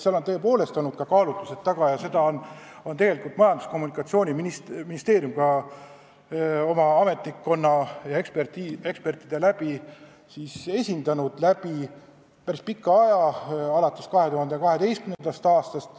Meil on tõepoolest olnud ka kaalutlused taga ja seda seisukohta on tegelikult Majandus- ja Kommunikatsiooniministeerium oma ametnike ja ekspertide näol esindanud päris pikka aega, alates 2012. aastast.